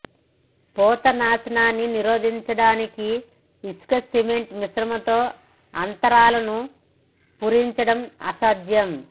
పూత నాశనాన్ని నిరోధించడానికి ఇసుక సిమెంట్ మిశ్రమంతో అంతరాలను పూరించడం అసాధ్యం